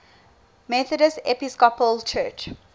methodist episcopal church